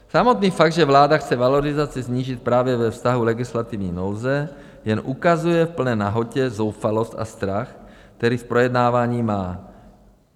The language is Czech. Samotný fakt, že vláda chce valorizaci snížit právě ve stavu legislativní nouze, jen ukazuje v plné nahotě zoufalost a strach, který z projednávání má.